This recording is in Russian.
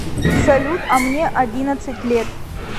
салют а мне одиннадцать лет